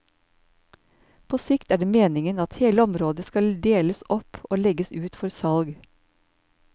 På sikt er det meningen at hele området skal deles opp og legges ut for salg.